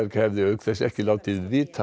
hefði auk þess ekki látið vita af